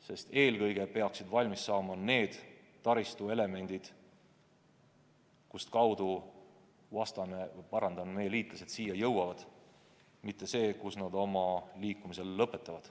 Sest eelkõige peaksid valmis saama need taristuelemendid, mida kasutades meie liitlased siia jõuavad, mitte kus nad oma liikumise lõpetavad.